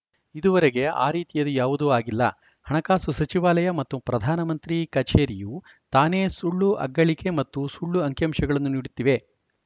ಇದುವರೆಗೆ ಆ ರೀತಿಯದು ಯಾವುದೂ ಆಗಿಲ್ಲ ಹಣಕಾಸು ಸಚಿವಾಲಯ ಮತ್ತು ಪ್ರಧಾನಮಂತ್ರಿ ಕಚೇರಿಯು ತಾನೇ ಸುಳ್ಳು ಅಗ್ಗಳಿಕೆ ಮತ್ತು ಸುಳ್ಳು ಅಂಕಿಅಂಶಗಳನ್ನು ನೀಡುತ್ತಿವೆ